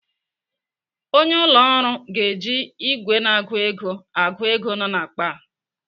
Onye ụlọ ọrụ ga-eji ìgwè na-agụ ego agụ ego nọ n'akpa a.